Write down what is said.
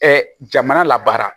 jamana la baara